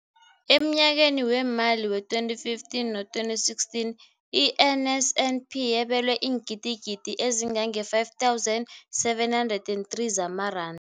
Emnyakeni weemali we-2015 no-2016, i-NSNP yabelwa iingidigidi ezi-5 703 zamaranda.